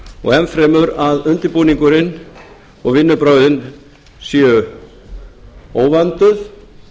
og enn fremur að undirbúningurinn og vinnubrögðin séu óvönduð